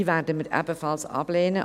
Diese werden wir ebenfalls ablehnen.